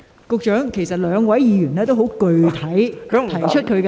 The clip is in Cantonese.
局長，其實兩位議員均很具體地提出問題。